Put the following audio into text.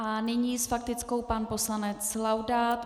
A nyní s faktickou pan poslanec Laudát.